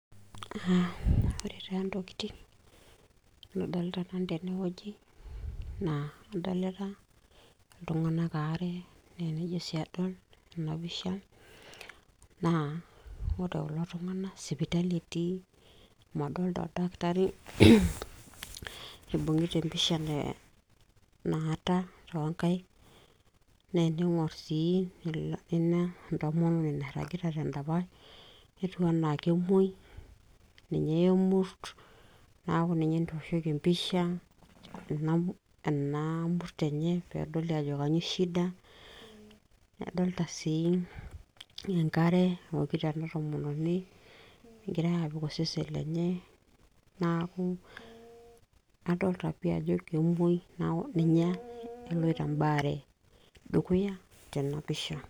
ore taa, intokiting' nadolita nanu tene ng'weji naa kadolita, iltung'anak aare naa enijo sii adol tena pisha, naa ore kulo tung'anak sipittali etii nadolita oldakitari eibung'ita empisha naata too nkaik naa ening'or sii ketii entomononi nairagita te ndapash ketiu anaa kemuoi, ninye eyaa emurt neaku ninye etooshoki empisha ena murt enye pee edoli ajo kanyoo shida . kadolita sii enkare naokito ena tomononi egirae aapik osesen lenye neaku kadolita pi ajo kemwoi neaku eloito embaare dukuya tena pisha.